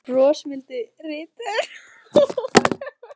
segir brosmildi ritarinn og hefur örugglega aldrei brosað jafnbreitt.